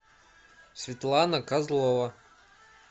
светлана козлова